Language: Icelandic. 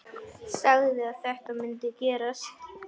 Sagði að þetta mundi gerast.